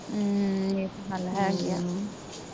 ਹਮ